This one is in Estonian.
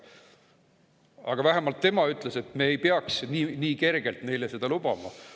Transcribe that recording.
Aga tema vähemalt ütles, et me ei peaks seda neile nii kergelt lubama.